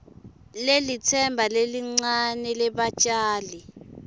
lelitsemba lelincane lebatjali